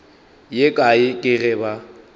ye kae ke ge ba